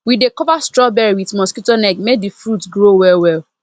we dey cover strawberry with mosquito net make the fruit grow well well